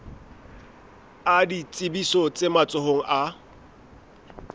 a ditsebiso tse matsohong a